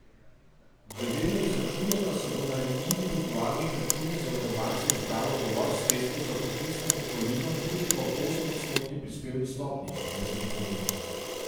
Glede na izračune pa se bo na individualnih računih zavarovancev zbralo dovolj sredstev za poklicno pokojnino tudi ob osemodstotni prispevni stopnji, je zagotovil.